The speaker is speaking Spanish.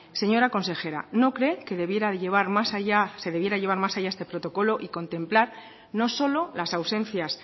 señora consejera no cree que se debiera llevar más allá este protocolo y contemplar no solo las ausencias